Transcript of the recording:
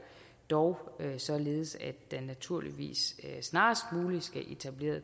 dog således at der naturligvis snarest muligt skal etableres